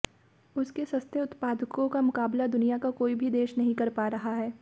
उसके सस्ते उत्पादों का मुकाबला दुनिया का कोई भी देश नहीं कर पा रहा है